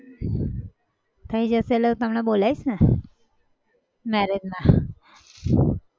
થઇ જશે એટલે હું તમને બોલાવીશને marriage માં